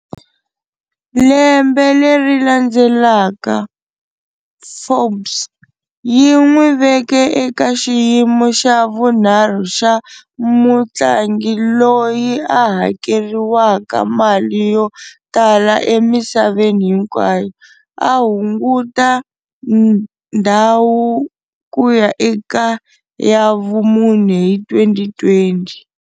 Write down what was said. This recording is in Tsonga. Lembe leri landzelaka, "Forbes" yi n'wi veke eka xiyimo xa vunharhu xa mutlangi loyi a hakeriwaka mali yo tala emisaveni hinkwayo, a hunguta ndhawu ku ya eka ya vumune hi 2020.